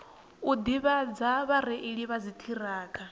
u ḓivhadza vhareili vha dziṱhirakha